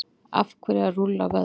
af hverju að rúlla vöðva